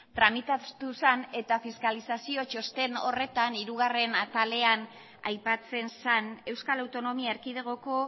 tramitatu zen eta fiskalizazio txosten horretan hirugarren atalean aipatzen zen euskal autonomia erkidegoko